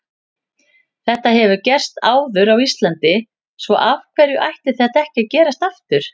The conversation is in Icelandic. Þetta hefur gerst áður á Íslandi svo af hverju ætti þetta ekki að gerast aftur?